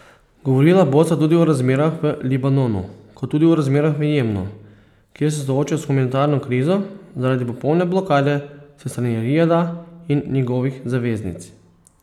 Govorila bosta tudi o razmerah v Libanonu, kot tudi o razmerah v Jemnu, kjer se soočajo s humanitarno krizo zaradi popolne blokade s strani Rijada in njegovih zaveznic.